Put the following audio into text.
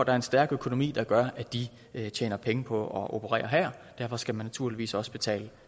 er en stærk økonomi der gør at de tjener penge på at operere her derfor skal man naturligvis også betale